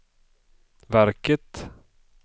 verket